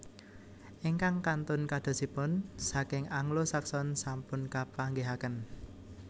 Ingkang kantun kadosipun saking Anglo Saxon sampun kapanggihaken